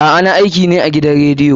A'a, na aiki ne a gidan rediyo.